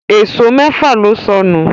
Èṣó méfà ló sọnù